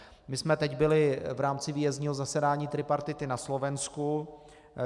My jsme teď byli v rámci výjezdního zasedání tripartity na Slovensku.